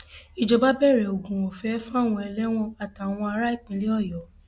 ìjọba bẹrẹ oògùn ọfẹ fáwọn ẹlẹwọn àtàwọn ará ìpínlẹ ọyọ